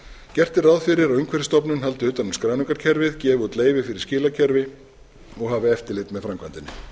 gert er ráð fyrir að umhverfisstofnun haldi utan um skráningarkerfið gefi út leyfi fyrir skilakerfi og hafi eftirlit með framkvæmdinni